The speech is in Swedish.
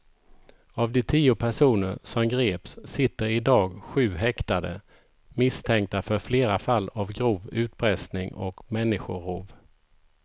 Av de tio personer som greps sitter i dag sju häktade misstänkta för flera fall av grov utpressning och människorov.